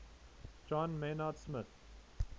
john maynard smith